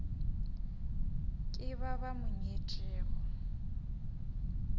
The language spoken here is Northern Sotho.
ke ba ba mo nyetšego